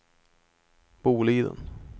Boliden